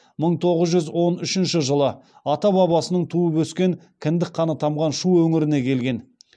мың тоғыз жүз он үшінші жылы ата бабасының туып өскен кіндік қаны тамған шу өңіріне келген